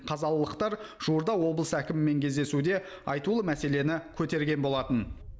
қазалылықтар жуырда облыс әкімімен кездесуде айтулы мәселені көтерген болатын